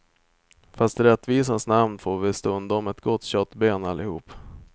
Fast i rättvisans namn får vi stundom ett gott köttben allihop.